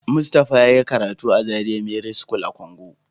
Mustapha yayi karatu a Zaria merit school a Kongo.